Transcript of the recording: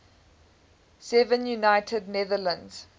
seven united netherlands